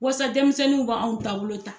Wasa denmisɛnninw b'anw taabolo ta.